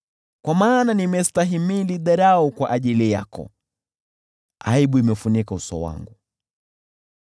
Kwa maana nimestahimili dharau kwa ajili yako, aibu imefunika uso wangu.